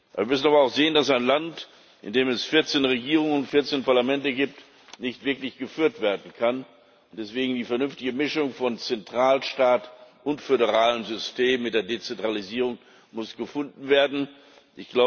Wir müssen aber auch sehen, dass ein Land, in dem es 14 Regierungen und 14 Parlamente gibt, nicht wirklich geführt werden kann und deswegen die vernünftige Mischung von Zentralstaat und föderalem System mit der Dezentralisierung gefunden werden muss.